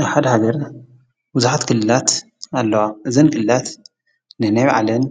አብ ሓደ ሃገር ብዙሓት ክልላት ኣለዋ ።እዘን ክልላት ነናይ ባዕለን